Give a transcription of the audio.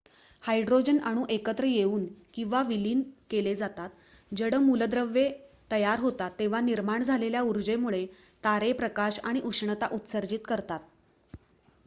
hydrogen अणू एकत्र येऊन किंवा विलीन केले जातात जड मूलद्रव्ये तयार होतात तेव्हा निर्माण झालेल्या ऊर्जेमुळे तारे प्रकाश आणि उष्णता उत्सर्जित करतात